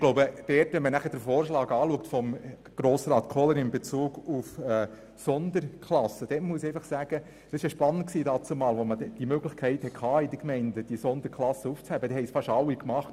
Zum Vorschlag von Grossrat Kohler in Bezug auf die Sonderklassen möchte ich folgendes sagen: Als die Gemeinden die Möglichkeit erhielten, diese Sonderklassen aufzuheben, haben dies fast alle getan.